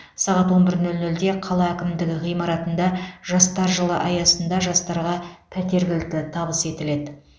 сағат он бір нөл нөлде қала әкімдігі ғимаратында жастар жылы аясында жастарға пәтер кілті табыс етіледі